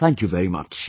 Thank you very much